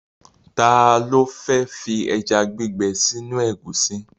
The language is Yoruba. Ta ló fẹ́ fi ẹja gbígbẹ sínú ẹ̀gúsí?